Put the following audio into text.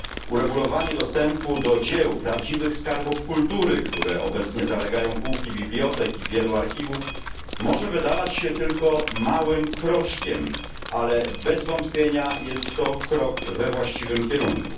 Uregulowanie dostępu do dzieł, prawdziwych skarbów kultury, które obecnie zalegają półki bibliotek i wielu archiwów, może wydawać się tylko małym kroczkiem, ale bez wątpienia jest to krok we właściwym kierunku.